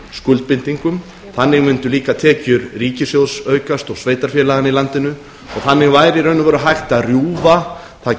skuldbindingum þannig mundu líka tekjur ríkissjóðs aukast og sveitarfélaganna í landinu og þannig væri í raun og veru hægt að rjúfa